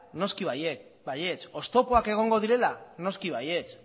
noski baietz oztopoak egongo direla noski baietz